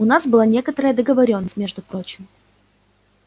у нас была некоторая договорённость между прочим